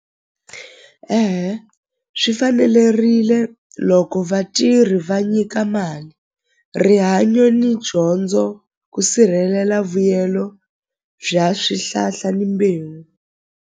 swi fanelerile loko vatirhi va nyika mali rihanyo ni dyondzo ku sirhelela vuyelo bya swihlahla ni mbewu.